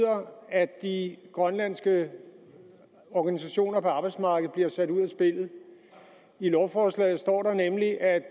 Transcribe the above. at de grønlandske organisationer på arbejdsmarkedet bliver sat ud af spillet i lovforslaget står der nemlig at